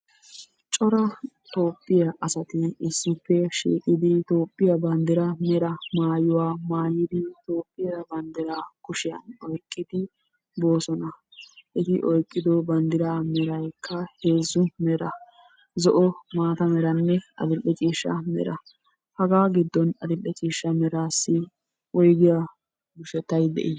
Corraa Toophphiyaa asati issippe shiiqidi Toophphiya banddiraa mera mayuwaa mayiidi, Toophphiyaa banddiraa kushiyan oyqqiddi bosonna eti oykiddo bandira meraykka heezzu meraa, zo"o, maattaa meranne adil"e ciishshaa mera haga giddon adil'e ciishshaa meraassi woygiyaa birshettay de'i?